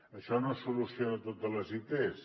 això no soluciona totes les its